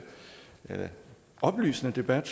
oplysende debat